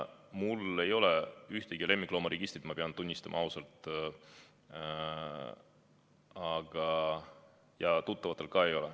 Mul ei ole ühtegi lemmikloomaregistrit, ma pean ausalt tunnistama, ja tuttavatel ka ei ole.